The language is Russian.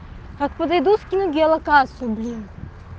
откуда идут скину геолокацию блин